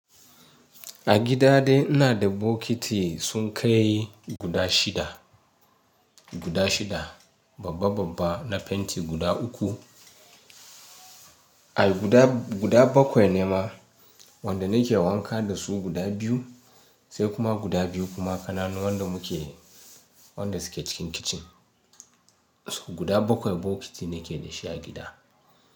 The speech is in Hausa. A gida de ina da bokiti sun kai guda shida, guda shida babba babba na fenti guda uku. Ai guda, guda bakwai ne ma wanda nake wanka da su guda biyu sai kuma guda biyu kuma kananu wanda muke, wanda suke cikin kitchen. Su guda bakwai bokiti nake da shi a gida.